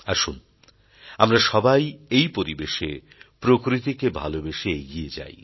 আসুন আমরা সবাই এই পরিবেশে প্রকৃতিকে ভালোবেসে এগিয়ে যাই